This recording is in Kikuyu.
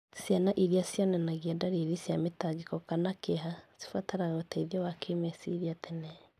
Ciana irĩa cionanagia ndariri cia mĩtangĩko kana kĩeha cibataraga ũteithio wa kĩmeciria tene.